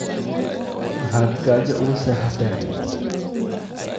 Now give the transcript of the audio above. Maxaad gaajo u gu seexaten?